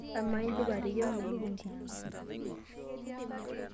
Amaa, indipa ateyiang'a elukunku?